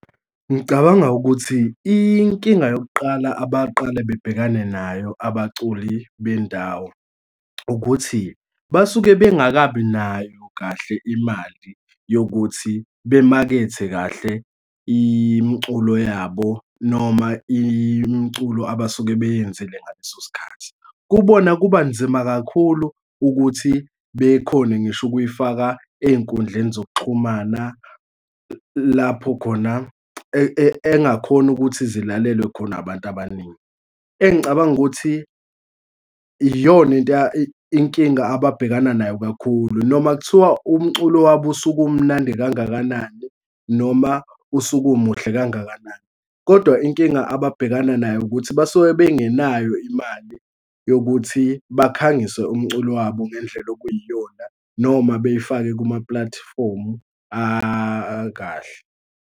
Ngicabanga ukuthi inkinga yokuqala abaqale bebhekane nayo abaculi bendawo, ukuthi basuke bengakabi nayo kahle imali yokuthi bemakhethe kahle imiculo yabo, noma imiculo abasuke beyenzile ngaleso sikhathi. Kubona kubanzima kakhulu ukuthi bekhone ngisho ukuyifaka ey'nkundleni zokuxhumana lapho khona engakhona ukuthi zilalelwe khona abantu abaningi. Engicabanga ukuthi iyona into inkinga ababhekana nayo kakhulu, noma kuthiwa umculo wabo usuke umnandi kangakanani noma usuke umuhle kangakanani, kodwa inkinga ababhekana nayo ukuthi basuke bengenayo imali yokuthi bakhangise umculo wabo ngendlela okuyiyona noma beyifake kumapulatifomu akahle.